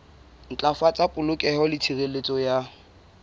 ntlafatsa polokeho le tshireletso ya